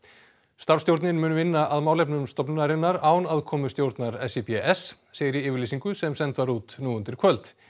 starfsstjórnin mun vinna að málefnum stofnunarinnar án aðkomu stjórnar SÍBS segir í yfirlýsingu sem send var út nú undir kvöld